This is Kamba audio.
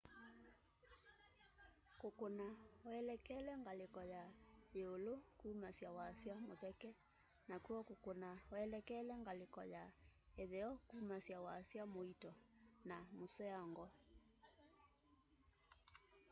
kũkũna welekele ngaliko na yĩũlũ kũmasya wasya mũtheke nakw'o kũkũna welekele ngaliko ya ĩtheo kũmasya wasya mũĩto na mũseango